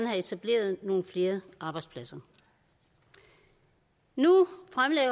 have etableret nogle flere arbejdspladser nu